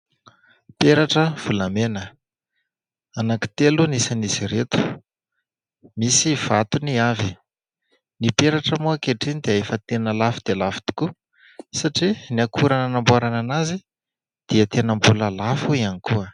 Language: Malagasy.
Peratra volamena, anankitelo ny isan'izy ireto, misy vatony avy. Ny peratra moa ankehitriny dia efa tena lafo dia lafo tokoa satria ny akora nanamboarana azy dia tena mbola lafo ihany koa.